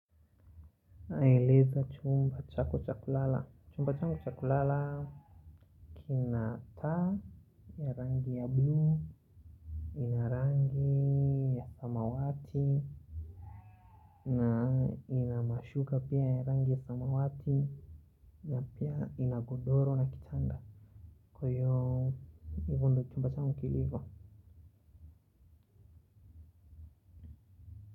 Eleza chumba chako cha kulala, chumba changu cha kulala kina taa ya rangi ya buluu ina rangi ya samawati na ina mashuka pia ya rangi ya samawati na pia ina godoro na kitanda kwa hiyo, hivyo ndio chumba changu kilivyo.